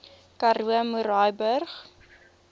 karoo murrayburg